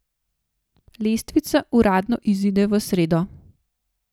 Lestvica uradno izide v sredo.